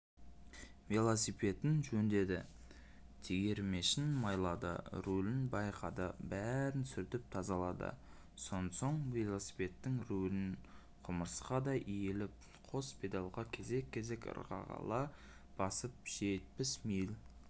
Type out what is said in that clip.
велосипедін жөндеді тегермешін майлады рүлін байқады бәрін сүртіп тазалады сонсоң велосипедтің руліне құмырсқадай иіліп қос педальға кезек-кезек ырғала басып жетпіс миль